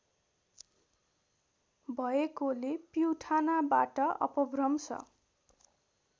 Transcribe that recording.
भएकोले पिउठानाबाट अपभ्रंश